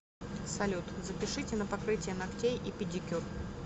салют запишите на покрытие ногтей и педикюр